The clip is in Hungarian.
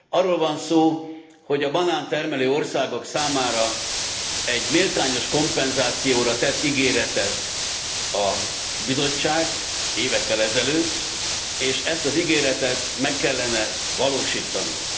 Arról van szó, hogy a banántermelő országok számára egy méltányos kompenzációra tett ígéretet a Bizottság évekkel ezelőtt, és ezt az ígéretet meg kellene valósítanunk.